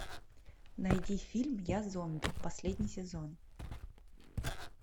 найди фильм я зомби последний сезон